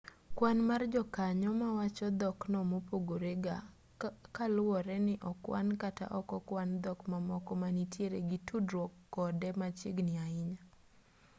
kwan mar jokanyo mawacho dhokno pogore ga kaluwore ni okwan kata ok okwan dhok mamoko ma nitiere gi tudruok kode machiegni ahinya